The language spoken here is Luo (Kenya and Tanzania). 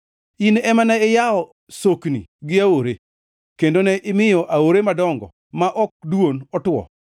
In ema ne iyawo sokni gi aore, kendo ne imiyo aore madongo ma ok dwon otwo.